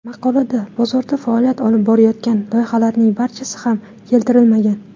Maqolada bozorda faoliyat olib borayotgan loyihalarning barchasi ham keltirilmagan.